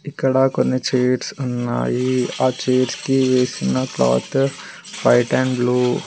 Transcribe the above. ఇక్కడ కొన్ని చైర్స్ ఉన్నాయి ఆ చైర్స్ కి వేసిన క్లాత్ వైట్ అండ్ బ్లూ .